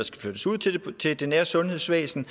skal flyttes ud til det nære sundhedsvæsen